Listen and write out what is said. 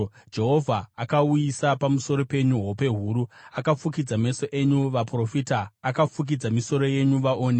Jehovha akauyisa pamusoro penyu hope huru; Akafukidza meso enyu, vaprofita; akafukidza misoro yenyu, vaoni.